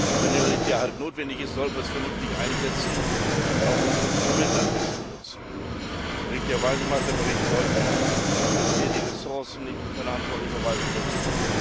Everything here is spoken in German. Und wenn Militär halt notwendig ist, sollten wir es vernünftig einsetzen und auch unsere Instrumente bestmöglich nutzen. Richtigerweise macht der Bericht deutlich, dass wir die Ressourcen nicht in verantwortlicher Weise nutzen.